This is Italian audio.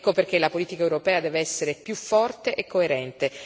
Ecco perché la politica europea deve essere più forte e coerente.